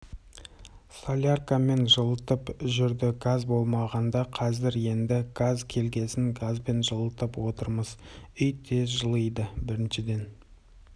соляркамен жылытып жүрді газ болмағанда қазір енді газ келгесін газбен жылытып отырамыз үй тез жылиды біріншіден